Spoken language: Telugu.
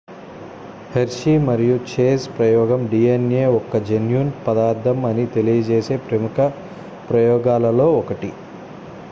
hershey మరియు chase ప్రయోగం dna ఒక జన్యు పదార్ధం అని తెలియజేసే ప్రముఖ ప్రయోగాలలో ఒకటి